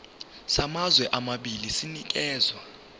samazwe amabili sinikezwa